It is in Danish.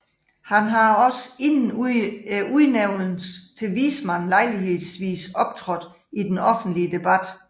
Han har også inden udnævnelsen til vismand lejlighedsvis optrådt i den offentlige debat